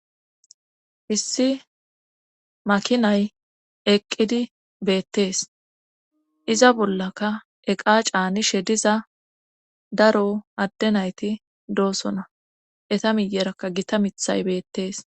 Issi makinay eqqidi beettees. Iza bollaka eqa caanishe diza daro adde nayti doosona. Eta miyerakka gita mithay beettees.